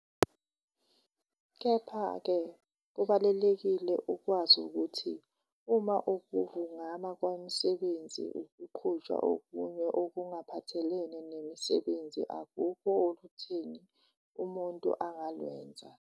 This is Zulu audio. Kepha-ke kubalulekile ukwazi ukuthi uma ukuvungama kwabasebenzi kuqhutshwa okunye okungaphathalene nezemisebenzi akukho olutheni umuntu angalwenza.